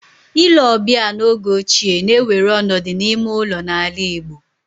Ile ọbịa n'oge ochie na-ewere ọnọdụ n'ime ụlọ n'ala Igbo